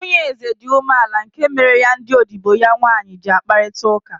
Nwunye eze dị umeala nke mere ya ndị odibo ya nwanyị ji n'akparịta ụka